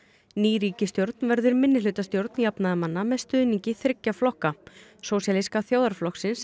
ný ríkisstjórn verður minnihlutastjórn jafnaðarmanna með stuðningi þriggja flokka sósíalíska þjóðarflokksins